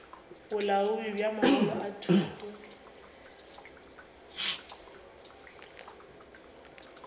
bolaodi bja mangwalo a thuto